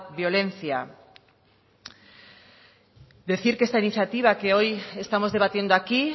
violencia decir que esta iniciativa que hoy estamos debatiendo aquí